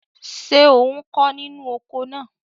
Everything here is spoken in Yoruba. Ṣé ò ń kó inú oko náà?